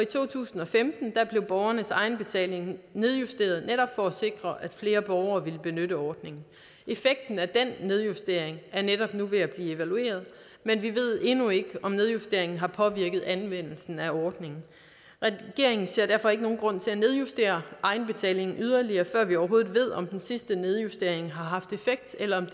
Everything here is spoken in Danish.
to tusind og femten blev borgernes egenbetaling nedjusteret netop for at sikre at flere borgere ville benytte ordningen effekten af den nedjustering er netop nu ved at blive evalueret men vi ved endnu ikke om nedjusteringen har påvirket anvendelsen af ordningen regeringen ser derfor ikke nogen grund til at nedjustere egenbetalingen yderligere før vi overhovedet ved om den sidste nedjustering har haft effekt eller om